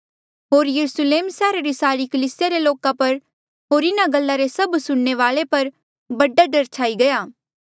होर यरुस्लेम सैहरा री सारी कलीसिया रे लोका पर होर इन्हा गल्ला रे सभ सुणने वाले पर बड़ा डर छाई गया